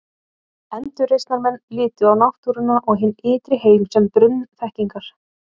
Endurreisnarmenn litu á náttúruna og hinn ytri heim sem brunn þekkingar.